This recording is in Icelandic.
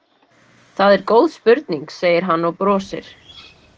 Það er góð spurning, segir hann og brosir.